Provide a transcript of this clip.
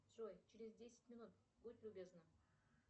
джой через десять минут будь любезна